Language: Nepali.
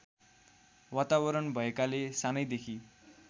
वातावरण भएकाले सानैदेखि